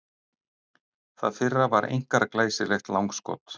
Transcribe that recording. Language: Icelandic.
Það fyrra var einkar glæsilegt langskot.